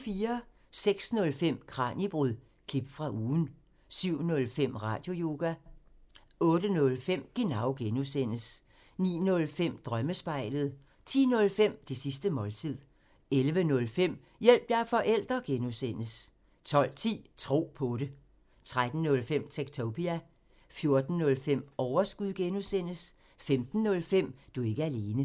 06:05: Kraniebrud – klip fra ugen 07:05: Radioyoga 08:05: Genau (G) 09:05: Drømmespejlet 10:05: Det sidste måltid 11:05: Hjælp – jeg er forælder! (G) 12:10: Tro på det 13:05: Techtopia 14:05: Overskud (G) 15:05: Du er ikke alene